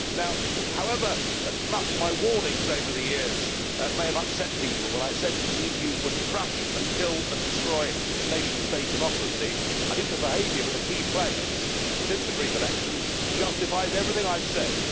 Now however much my warnings over the years may have upset people, when I said that the EU would crush and kill and destroy nation state democracy, I think the behaviour by the key players since the Greek elections justifies everything I have said.